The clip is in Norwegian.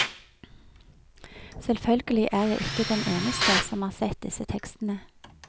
Selvfølgelig er jeg ikke den eneste som har sett disse tekstene.